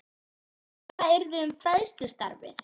Hann spurði hvað yrði um fræðslustarfið.